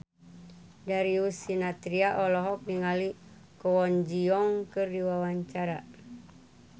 Darius Sinathrya olohok ningali Kwon Ji Yong keur diwawancara